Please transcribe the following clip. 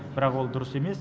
бірақ ол дұрыс емес